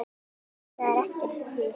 Því það er ekkert stríð.